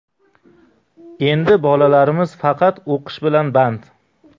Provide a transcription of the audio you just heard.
Endi bolalarimiz faqat o‘qish bilan band.